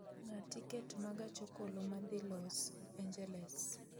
ng'ad tiket ma gach okoloma dhi Los Angeles